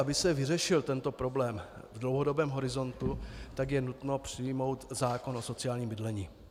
Aby se vyřešil tento problém v dlouhodobém horizontu, tak je nutno přijmout zákon o sociálním bydlení.